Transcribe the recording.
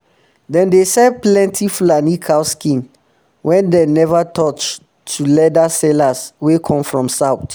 dem dey sell plenti fulani cow skin wey dem never touch to leather sellers way come from south